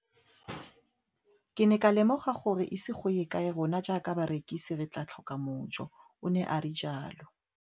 Ke ne ka lemoga gore go ise go ye kae rona jaaka barekise re tla tlhoka mojo, o ne a re jalo.